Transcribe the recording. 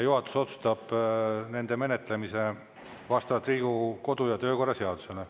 Juhatus otsustab nende menetlemise vastavalt Riigikogu kodu- ja töökorra seadusele.